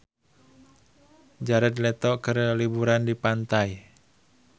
Jared Leto keur liburan di pantai